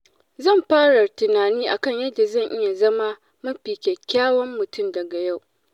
Zan fara tunani a kan yadda zan iya zama mafi kyakkyawan mutum daga yau.